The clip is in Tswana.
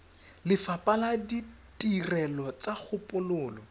lefapha la ditirelo tsa kgopololo